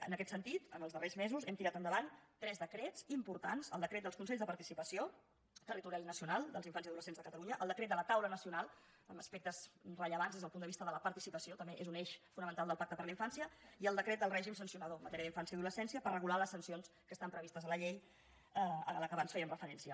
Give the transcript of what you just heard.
en aquest sentit en els darrers mesos hem tirat endavant tres decrets importants el decret dels consells de participació territorial i nacional dels infants i adolescents de catalunya el decret de la taula nacional amb aspectes rellevants des del punt de vista de la participació també és un eix fonamental del pacte per a la infància i el decret del règim sancionador en matèria d’infància i adolescència per regular les sancions que estan previstes a la llei a la qual abans fèiem referència